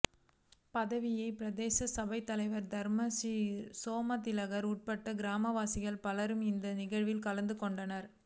பதவிய பிரதேச சபைத்தலைவர் தர்ம ஸ்ரீ சோமதிலக்க உட்பட கிராமவாசிகள் பலர் இந்த நிகழ்வில் கலந்துக் கொண்டனர்